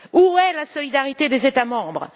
Où est la solidarité des États membres?